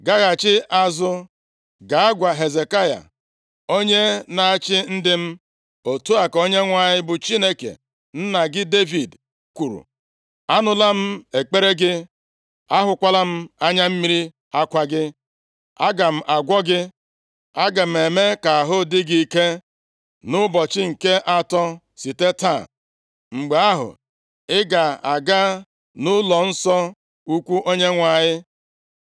“Gaghachi azụ, gaa gwa Hezekaya, onye na-achị ndị m, ‘Otu a ka Onyenwe anyị bụ Chineke nna gị Devid, kwuru: Anụla m ekpere gị, ahụkwala m anya mmiri akwa gị, aga m agwọ gị. Aga m eme ka ahụ dị gị ike nʼụbọchị nke atọ site taa, mgbe ahụ ị ga-aga nʼụlọnsọ ukwu Onyenwe anyị.